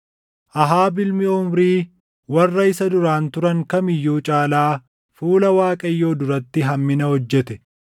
Ahaab ilmi Omrii warra isa duraan turan kam iyyuu caalaa fuula Waaqayyoo duratti hammina hojjete.